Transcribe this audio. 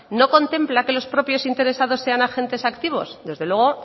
no contempla que los propios interesados sean agentes activos desde luego